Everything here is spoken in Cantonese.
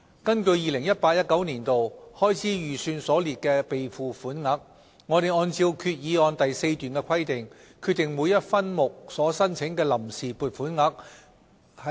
根據 2018-2019 年度開支預算所列的備付款額，我們按照決議案第4段的規定，決定每一分目所申請的臨時撥款額。